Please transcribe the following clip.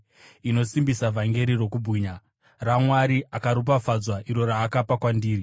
inosimbisa vhangeri rokubwinya, raMwari akaropafadzwa, iro raakapa kwandiri.